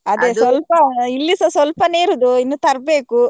ಇಲ್ಲಿಸ ಸ್ವಲ್ಪನೇ ಇರುದು ಇನ್ನು ತರ್ಬೇಕು.